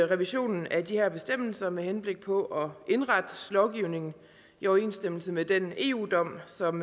revisionen af de her bestemmelser med henblik på at indrette lovgivningen i overensstemmelse med den eu dom som